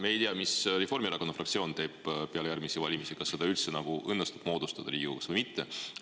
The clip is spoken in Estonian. Me ei tea, mis Reformierakonna fraktsioon teeb peale järgmisi valimisi ja kas seda üldse õnnestub Riigikogus moodustada või mitte.